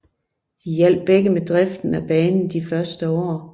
De hjalp begge med driften af banen de første år